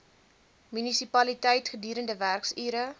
munisipaliteit gedurende werksure